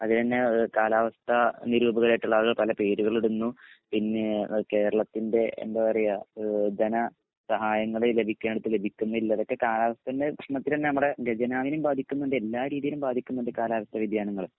അത് തഞ്ഞെ കാലാവസ്ഥ നിരൂപകരായിട്ടുള്ള ആളുകൾ പല പേരുകളിടുന്നു പിഞ്ഞേ കേരളത്തിന്റെ എന്താ പറയാ എ ധന സഹായങ്ങൾ ലഭിക്കേണ്ടിടത് ലഭിക്കുന്നില്ല ഇതൊക്കെ കാലാവസ്ഥന്റെ പ്രശ്‌നത്തിലെന്നെ നമ്മടെ ഗജനാവിനീം ബാധിക്കണ്ട് എല്ലാ രീതീല്മ് ബാധിക്കണ്ട് കാലാവസ്ഥ വ്യതിയാനങ്ങൾ